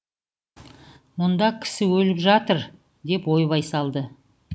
мұнда кісі өліп жатыр деп ойбай салды